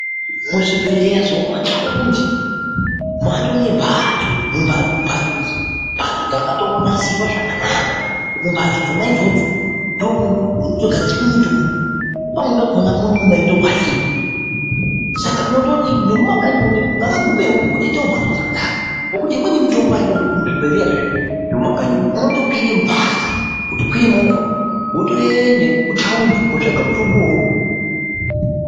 Muzvibhedhleya zvemumathaundi matoo nemphatso ,mphatso idzi mphatso dzakatonasirwa zvakanaka. Mumphatso dzona idzodzo ndomunotogadzirwe mitombo, pamweni pakhona murimo mwainongwarirwa .Saka tinoti nemumakanyi mwedu umwu ngavagumewo mutoita mphatso dzakadaro ngokuti imweni mitombo haioneki muzvibhedhleya zvedu zvemumakanyi umwo ,unotokwira mubhazi kutokwire movha wotoende muthaundi kunotsvaga mutombo uwowo.